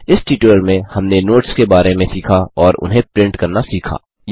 इस ट्यूटोरियल में हमने नोट्स के बारे में सीखा और उन्हें प्रिंट करना सीखा